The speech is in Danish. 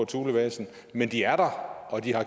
thulebasen men de er der og de har